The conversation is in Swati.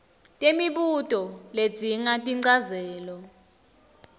temibuto ledzinga tinchazelo